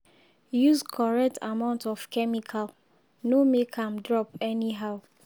use correct amount of chemical—no make am drop anyhow.